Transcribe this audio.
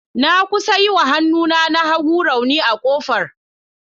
Na kusa yi wa hannuna na hagu rauni a kofar.